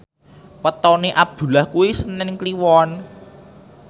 wetone Abdullah kuwi senen Kliwon